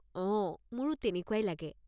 অঁ, মোৰো তেনেকুৱাই লাগে।